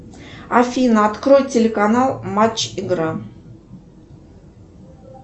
афина открой телеканал матч игра